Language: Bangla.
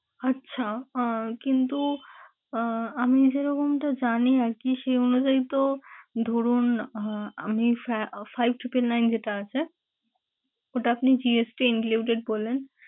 আচ্ছা আহ কিন্তু আহ আমি যেরকমটা জানি আরকি সেই অনুযায়ী তো ধরুন, আহ আমি five two k nine যেটা আছে ওটা আপনি GST included বললেন